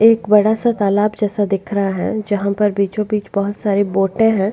एक बड़ासा तालाब जैसे दिख रहा है जहाँ पर बीचो बीच बहुत सारे बोटे है।